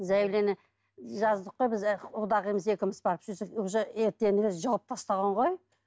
заявление жаздық қой біз құдағиымыз екеуміз барып сөйтсек уже ертеңінде жауып тастаған ғой